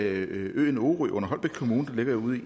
øer